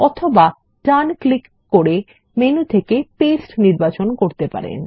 অথবা ডান ক্লিক করে মেনু থেকে পেস্ট নির্বাচন করতে পারেন